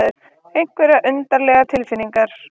Einhverjar undarlegar tilfinningar.